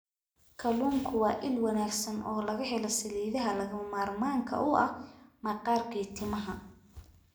Kalluunku waa il wanaagsan oo laga helo saliidaha lagama maarmaanka u ah maqaarka iyo timaha.